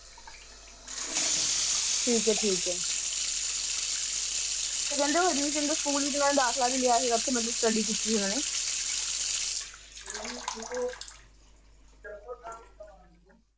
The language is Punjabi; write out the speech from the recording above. ਠੀਕ ਹੈ ਠੀਕ ਹੈ ਤੇ ਕਹਿੰਦੇ ਹਰੀਸ਼ ਚੰਦਰ ਸਕੂਲ ਵਿਚ ਓਹਨਾ ਨੇ ਦਾਖਲਾ ਵੀ ਲਿਆ ਸੀ ਥੇ ਮਤਲਬ study ਕੀਤੀ ਸੀ ਓਹਨਾ ਨੇ